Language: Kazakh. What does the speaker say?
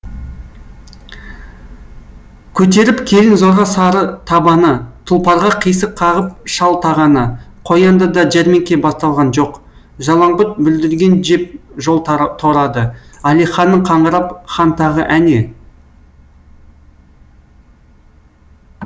көтеріп келін зорға сары табаны тұлпарға қисық қағып шал тағаны қояндыда жәрмеңке басталған жоқ жалаңбұт бүлдірген жеп жол торады әлиханның қаңырап хан тағы әне